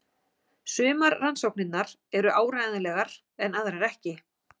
Sumar rannsóknirnar eru áreiðanlegar en aðrar ekki.